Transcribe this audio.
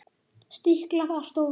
Stiklað á stóru